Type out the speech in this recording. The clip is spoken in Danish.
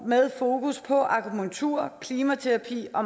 med fokus på akupunktur klimaterapi og